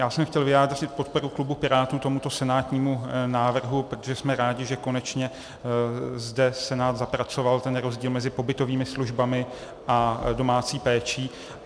Já jsem chtěl vyjádřit podporu klubu Pirátů tomuto senátnímu návrhu, protože jsme rádi, že konečně zde Senát zapracoval ten rozdíl mezi pobytovými službami a domácí péčí.